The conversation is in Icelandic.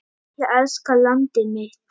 Ég elska landið mitt.